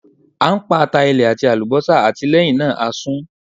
A n pa ata ilẹ ati alubosa ati lẹhinna a sun